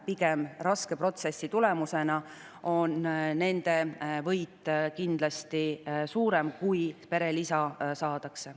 Pigem on raske protsessi tulemusena nende võit kindlasti suurem, kui siiski perelisa saadakse.